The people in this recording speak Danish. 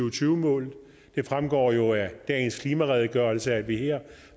og tyve målene det fremgår jo af dagens klimaredegørelse at vi her